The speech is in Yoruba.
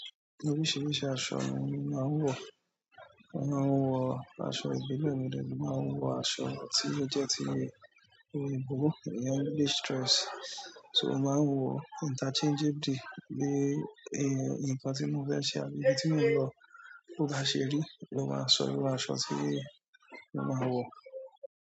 Oríṣiríṣi aṣọ ni mo máa ń wọ̀. A máa ń wọ aṣọ ìbílẹ̀ mo de tun máa ń wọ aṣọ tí ó jẹ́ ti òyìnbó, iyen English dress. So mo máa ń wọ interchangeable dé ǹkan tí mo fẹ́ ṣe àbí ibi tí mo ń lọ. Bo bá ṣe rí, lo máa sọ irú aṣọ tí mo máa wọ̀.